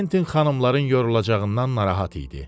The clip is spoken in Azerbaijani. Kventin xanımların yorulacağından narahat idi.